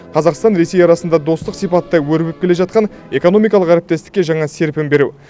қазақстан ресей арасында достық сипатта өрбіп келе жатқан экономикалық әріптестікке жаңа серпін беру